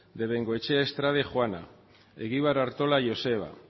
de bengoechea estrade juana egibar artola joseba